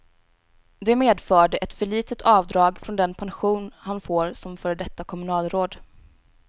Det medförde ett för litet avdrag från den pension han får som före detta kommunalråd.